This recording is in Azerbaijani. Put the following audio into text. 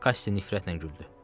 Kaşşi nifrətlə güldü.